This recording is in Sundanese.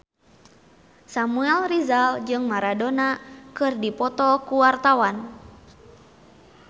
Samuel Rizal jeung Maradona keur dipoto ku wartawan